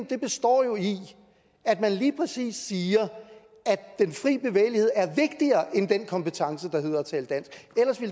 består jo i at man lige præcis siger at den fri bevægelighed er vigtigere end den kompetence